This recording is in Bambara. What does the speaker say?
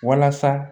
Walasa